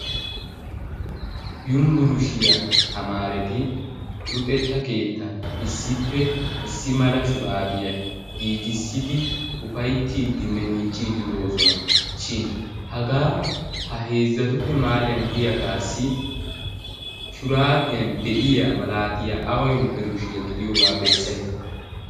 Yunburshiya tamaareti luxetta keettan issippe issi mala shuraabiya giigissidi ufayttiiddinne miicciiddi de'oosona. Shin hagaa ha heezzatuppe mahaaliyan diyagassi shuraabiyan diya malaatiya awa yunburshiya godiyogaa bessayi.